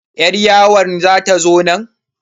Yar yawon zata zo nan?